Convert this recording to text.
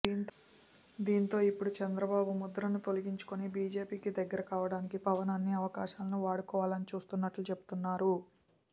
దీంతో ఇప్పుడు చంద్రబాబు ముద్రను తొలగించుకుని బీజేపీకి దగ్గర కావడానికి పవన్ అన్ని అవకాశాలనూ వాడుకోవాలని చూస్తున్నట్లు చెబుతున్నారు